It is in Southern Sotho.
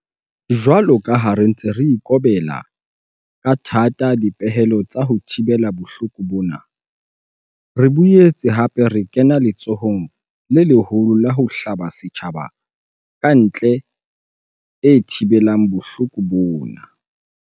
Jwalo ka ha re ntse re ikobela ka thata dipehelo tsa ho thibela bohloko bona, re boetse hape re kena letsholong le leholo la ho hlaba setjhaba ka ente e thibelang bohloko bona.